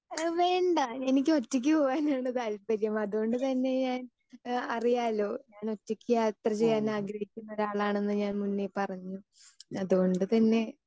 speaker 2 വേണ്ട എനിക്ക് ഒറ്റയ്ക്ക് പോകാനാണ് താൽപര്യം അതുകൊണ്ട് തന്നെ ഞാൻ അറിയാലോ ഞാൻ ഒറ്റയ്ക്ക് യാത്ര ചെയ്യാൻ ആഗ്രഹിക്കുന്ന ഒരാളാണെന്ന് ഞാൻ മുന്നേ പറഞ്ഞു അതുകൊണ്ടുതന്നെ